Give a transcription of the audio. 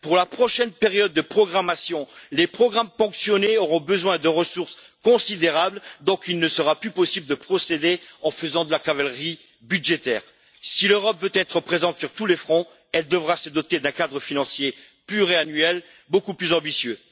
Pour la prochaine période de programmation, les programmes ponctionnés auront besoin de ressources considérables, donc il ne sera plus possible de procéder en faisant de la cavalerie budgétaire. Si l'Europe veut être présente sur tous les fronts, elle devra se doter d'un cadre financier pluriannuel beaucoup plus ambitieux.